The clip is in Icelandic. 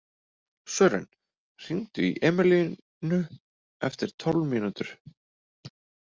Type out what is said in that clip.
Sören, hringdu í Emilíönnu eftir tólf mínútur.